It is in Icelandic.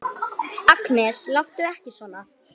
Agnes, láttu ekki svona!